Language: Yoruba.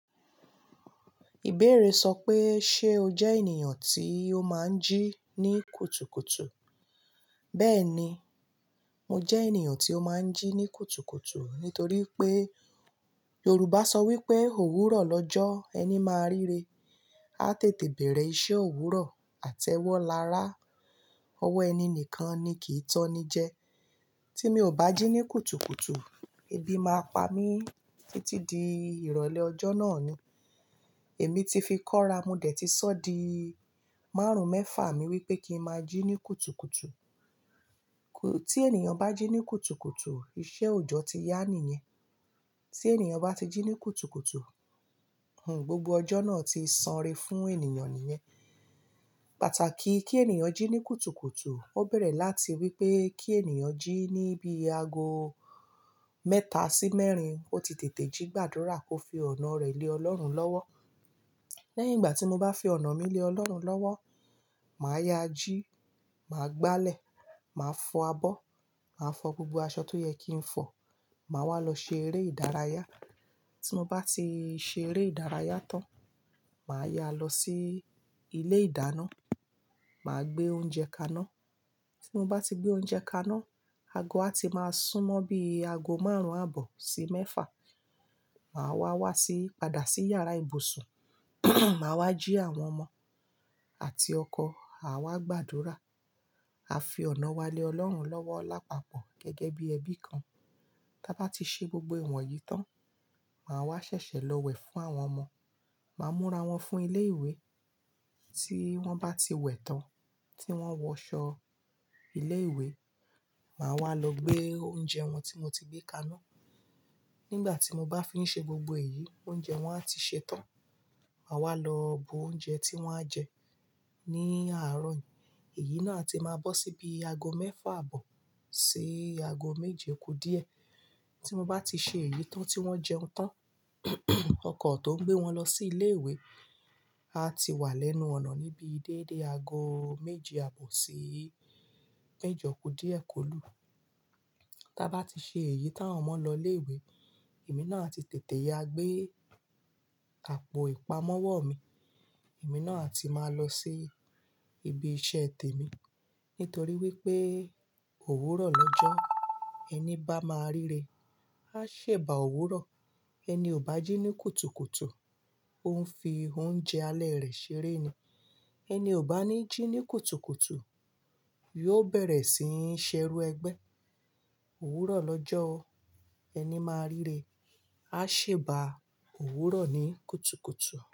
Ìbéèrè sọ pé, "Ṣé o jẹ́ ènìyàn tí ó máa ń jí ní kùtùkùtù?" Bẹ́ẹ̀ni, mo jẹ́ ènìyàn tí ó máa ń jí ní kùtùkùtù. Nítorí pé Yorùbá sọ wí pé òwúrọ̀ lọ́jọ́ ẹni máa ríre. A tètè bẹ̀rẹ̀ iṣẹ́ òwúrọ̀, àtẹ́wọ́ lára ọwọ́ ẹni nìkan ni kì í tán ni jẹ. Tí mi ò bá jí ní kùtùkùtù, ebi máa pa mí títí di ìrọ̀lẹ́ ọjọ́ náà ni. Èmi ti fi kọ́ra, mo dẹ̀ ti sọ di márùn-ún mẹ́fà mi wípé kí n máa jí ní kùtùkùtù. Tí ènìyàn bá jí ní kùtùkùtù, iṣẹ́ òjọ́ ti yá nìyẹn. Tí ènìyàn bá ti jí ní kùtùkùtù, gbogbo ọjọ́ náà ti sanré fún ènìyàn nìyẹn. Pàtàkì kí ènìyàn jí ní kùtùkùtù, ó bẹ̀rẹ̀ láti wípé kí ènìyàn jí ní bí i ago mẹ́ta sí mẹ́rin ó ti tètè jígbàdúrà kó fi ọ̀nà rẹ̀ lé Ọlọ́run lọ́wọ́. Lẹ́yìn ìgbà tí mo bá fi ọ̀nà mi lé Ọlọ́run lọ́wọ́, màá ya jí, màá gbálẹ̀, màá fọ abọ́, màá fọ gbogbo aṣọ tó yẹ kí n fọ̀, màá wá lọ ṣe eré ìdárayá. Tí mo bá ti ṣe eré ìdárayá tán, màá ya lọ sí ilé ìdáná, màá gbé oúnjẹ kaná. Tí mo bá ti gbé oúnjẹ kaná, ago á ti máa sún mọ́ bí i ago márùn-ún àbọ̀ sí mẹ́fà. Màá wá wá sí, padà sí yàrá ibùsùn, màá wá jí àwọn ọmọ àti ọkọ̀, à wá gbàdúrà. A fi ọ̀nà wa lé Ọlọ́run lọ́wọ́ lápapọ̀ gẹ́gẹ́ bí ẹbí kan. Tábá ti ṣe gbogbo ìwọ̀n yìí tán, màá wá ṣẹ̀ṣẹ̀ lọ wẹ̀ fún àwọn ọmọ. Màá múra wọn fún ilé ìwé. Tí wọ́n bá ti wẹ̀ tán, tí wọ́n wọ aṣọ ilé ìwé, màá wá lọ gbé oúnjẹ wọn tí mo ti gbé kaná. Nígbà tí mo bá fi ń ṣe gbogbo èyí, oúnjẹ wọn á ti ṣe tán. Màá wá lọ bu oúnjẹ tí wọ́n á jẹ ní àárọ̀ yìí. Èyí náà ati máa bọ́ sí bí i ago mẹ́fà àbọ̀ sí ago méje okú díẹ̀. Tí mo bá ti ṣe èyí tán tí wọ́n jẹun tán, ọkọ̀ tó ń gbé wọn lọ sí ilé ìwé a ti wà lẹ́nu ọ̀nà níbí dédé ago méje àbọ̀ sí méjọ kú díẹ̀ kólu. Tábá ti ṣe èyí táwọn mọ́ lọ ilé ìwé, èmi náà ati tètè ya gbé àpò ìpamọ́wọ́ mi. Èmi náà ti máa lọ sí ibi iṣẹ́ te mí. Nítorí wípé òwúrọ̀ lọ́jọ́ ẹni bá máa ríre á ṣẹ̀bà òwúrọ̀. Ẹni ò bá jí ní kùtùkùtù, òun fi oúnjẹ alẹ́ rẹ̀ ṣeré ni. Ẹni ò bá ní jí ní kùtùkùtù yóò bẹ̀rẹ̀ sií n ṣerú ẹgbẹ́. Òwúrọ̀ lọ́jọ́ ẹni máa ríre á ṣẹ̀bà òwúrọ̀ ní kùtùkùtù.